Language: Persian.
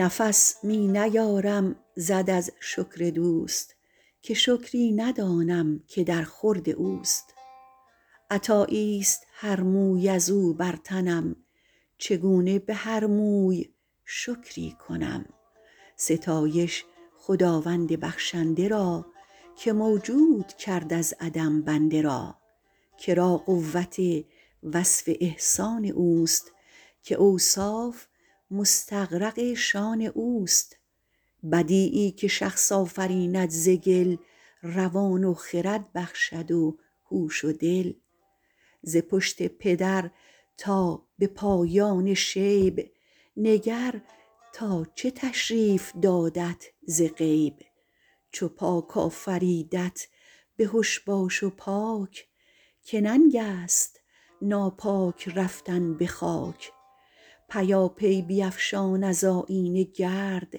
نفس می نیارم زد از شکر دوست که شکری ندانم که در خورد اوست عطایی است هر موی از او بر تنم چگونه به هر موی شکری کنم ستایش خداوند بخشنده را که موجود کرد از عدم بنده را که را قوت وصف احسان اوست که اوصاف مستغرق شأن اوست بدیعی که شخص آفریند ز گل روان و خرد بخشد و هوش و دل ز پشت پدر تا به پایان شیب نگر تا چه تشریف دادت ز غیب چو پاک آفریدت بهش باش و پاک که ننگ است ناپاک رفتن به خاک پیاپی بیفشان از آیینه گرد